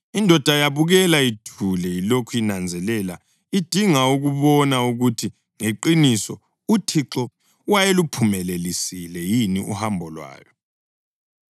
Indoda yabukela ithule ilokhu inanzelela idinga ukubona ukuthi ngeqiniso uThixo wayeluphumelelisile yini uhambo lwayo.